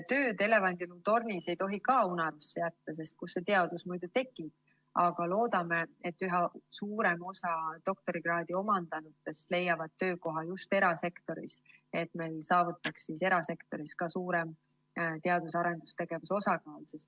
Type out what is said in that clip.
Tööd elevandiluutornis ei tohi ka unarusse jätta, sest kus see teadus muidu tekib, aga loodame, et üha suurem osa doktorikraadi omandanutest leiab töökoha erasektoris, et me saavutaks erasektoris ka suurema teadus‑ ja arendustegevuse osakaalu.